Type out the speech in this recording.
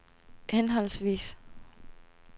henholdsvis